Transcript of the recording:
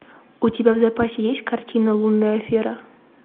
у тебя в запасе есть картина лунная афера